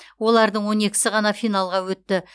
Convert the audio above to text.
олардың он екісі ғана финалға өтті